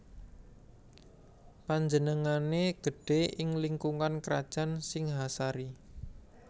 Panjenengané gedhé ing lingkungan Krajan Singhasari